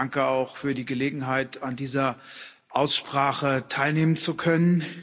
Danke, auch für die Gelegenheit, an dieser Aussprache teilnehmen zu können.